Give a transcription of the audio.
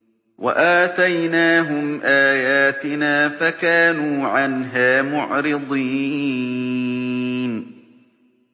وَآتَيْنَاهُمْ آيَاتِنَا فَكَانُوا عَنْهَا مُعْرِضِينَ